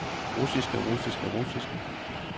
russiske russiske russiske